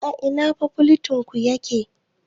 A ina fakoltin ku take?